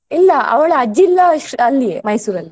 ಇಲ್ಲಾ ಅವಳ ಅಜ್ಜಿ ಇಲ್ಲ ಅಲ್ಲಿಯೇ Mysore ಅಲ್ಲಿ.